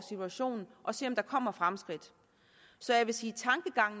situationen og se om der kommer fremskridt så jeg vil sige